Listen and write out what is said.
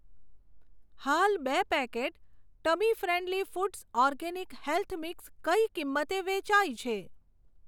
હાલ બે packet tummy friendly foods organic health mix કઈ કિંમતે વેચાય છે?